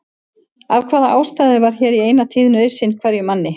Að hafa ástæðu var hér í eina tíð nauðsyn hverjum manni.